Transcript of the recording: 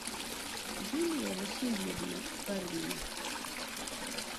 юлия васильевна бармина